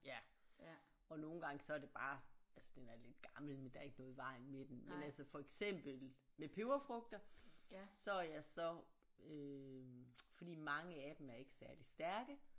Ja og nogle gange så er det bare altså den er lidt gammel men der er ikke noget i vejen med den men altså for eksempel med peberfrugter så er jeg så øh fordi mange af dem er ikke særlig stærke